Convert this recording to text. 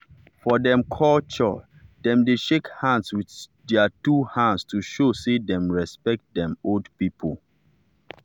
for dem culturedem dey shake hands with their two hands to show say dem respect dem old people.